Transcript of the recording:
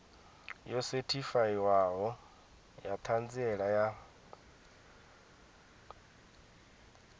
yo sethifaiwaho ya ṱhanziela ya